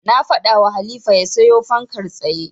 Na faɗawa Halifa ya siyo fankar tsaye.